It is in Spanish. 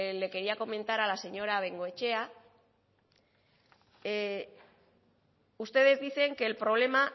le quería comentar a la señora bengoechea ustedes dicen que el problema